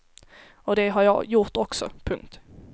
Och det har jag gjort också. punkt